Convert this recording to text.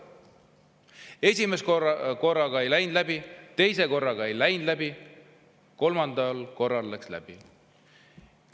Esimese korraga ei läinud läbi, teise korraga ei läinud läbi, kolmandal korral läks läbi.